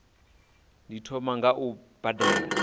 ndi thoma nga u badela